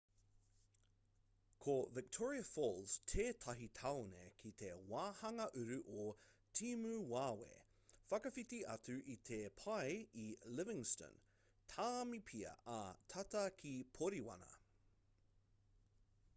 ko victoria falls tētahi tāone ki te wāhanga uru o timuwawe whakawhiti atu i te pae i livingstone tāmipia ā tata ki poriwana